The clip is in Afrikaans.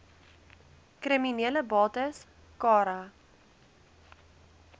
kriminele bates cara